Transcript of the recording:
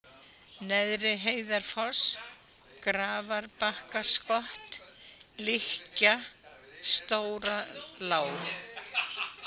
Neðriheiðarfoss, Grafarbakkaskott, Lykkja, Stóralág